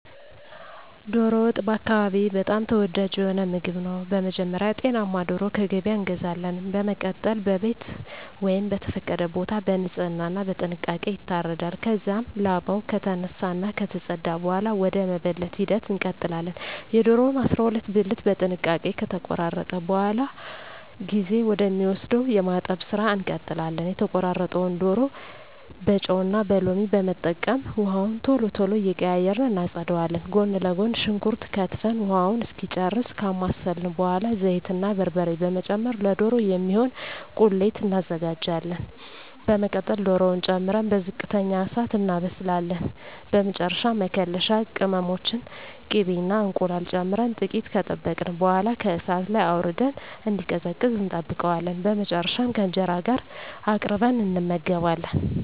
ዶሮ ወጥ በአካባቢየ በጣም ተወዳጅ የሆነ ምግብ ነው። በመጀመሪያ ጤናማ ዶሮ ከገበያ እንገዛለን። በመቀጠል በቤት ወይም በተፈቀደ ቦታ በንጽህና እና በጥንቃቄ ይታረዳል። ከዚያም ላባው ከተነሳ እና ከተፀዳ በኃላ ወደ መበለት ሂደት እንቀጥላለን። የዶሮውን 12 ብልት በጥንቃቄ ከተቆራረጠ በኃላ ጊዜ ወደ ሚወስደው የማጠብ ስራ እንቀጥላለን። የተቆራረጠውን ዶሮ በጨው እና ሎሚ በመጠቀም ውሃውን ቶሎ ቶሎ እየቀያየርን እናፀዳዋለን። ጎን ለጎን ሽንኩርት ከትፈን ውሃውን እስኪጨርስ ካማሰልን በኃላ ዘይት እና በርበሬ በመጨመር ለዶሮ የሚሆን ቁሌት እናዘጋጃለን። በመቀጠል ዶሮውን ጨምረን በዝቅተኛ እሳት እናበስላለን። በመጨረሻ መከለሻ ቅመሞችን፣ ቅቤ እና እንቁላል ጨምረን ጥቂት ከጠበቅን በኃላ ከእሳት ላይ አውርደን እንዲቀዘቅዝ እንጠብቀዋለን። በመጨረሻም ከእንጀራ ጋር አቅርበን እንመገባለን።